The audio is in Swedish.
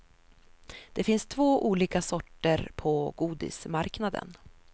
Det finns två olika sorter på godismarknaden.